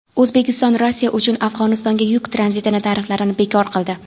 O‘zbekiston Rossiya uchun Afg‘onistonga yuk tranziti tariflarini bekor qildi.